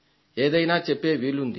ఏదైనా చెప్పే వీలుంది